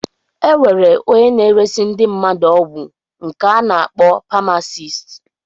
Enwere ónyé na-eresi ndị mmadụ ọgwụ nke ana akpọ pamasist.